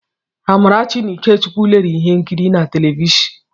Amarachi na Ikechukwu lere ihe nkiri na tiivi.